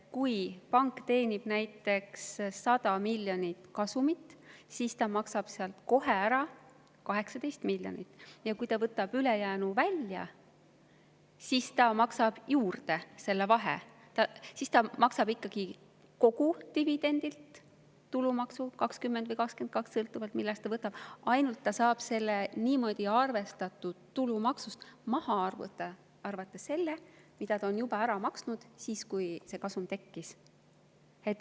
Kui pank teenib näiteks 100 miljonit eurot kasumit, siis ta maksab sealt kohe ära 18 miljonit, ja kui ta võtab ülejäänu välja, siis ta maksab juurde selle vahe ja ta maksab ikkagi kogu dividendilt tulumaksu 20% või 22%, sõltuvalt sellest, millal ta seda võtab, ainult ta saab niimoodi arvestatud tulumaksust maha arvata selle, mille ta juba ära maksis siis, kui see kasum tekkis.